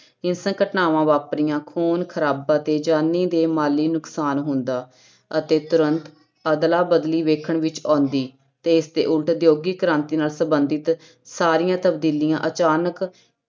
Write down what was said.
ਹਿੰਸਕ ਘਟਨਾਵਾਂ ਵਾਪਰੀਆਂ, ਖੂਨ ਖਰਾਬਾ ਤੇ ਜਾਨੀ ਤੇ ਮਾਲੀ ਨੁਕਸਾਨ ਹੁੰਦਾ ਅਤੇ ਤੁਰੰਤ ਅਦਲਾ ਬਦਲੀ ਵੇਖਣ ਵਿੱਚ ਆਉਂਦੀ ਤੇ ਇਸਦੇ ਉਲਟ ਉਦਯੋਗਿਕ ਕ੍ਰਾਂਤੀ ਨਾਲ ਸੰਬੰਧਤ ਸਾਰੀਆਂ ਤਬਦੀਲੀਆਂ ਅਚਾਨਕ